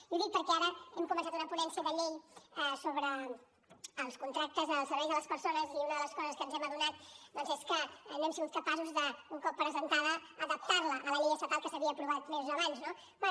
i ho dic perquè ara hem començat una ponència de llei sobre els contractes als serveis de les persones i una de les coses de què ens hem adonat doncs és que no hem sigut capaços de un cop presentada adaptar la a la llei estatal que s’havia aprovat mesos abans no bé